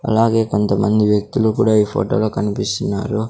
అలాగే కొంతమంది వ్యక్తులు కూడా ఈ ఫోటోలో కనిపిస్తున్నారు.